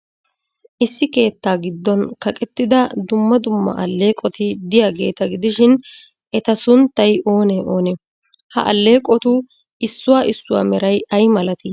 Issi keettaa giddon kaqqettida dumma dumma alleeqoti de'iyaageeta gidishin, eta sunttay oonee oonee? Ha alleeqotu issuwa issuwa meray ay malatii?